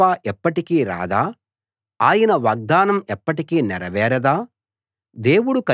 ఆయన కృప ఎప్పటికీ రాదా ఆయన వాగ్దానం ఎప్పటికీ నేరవేరదా